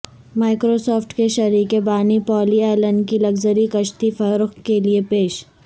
micro soft کے شریک بانی پال ایلن کی لگژری کشتی فروخت کے لیے پیش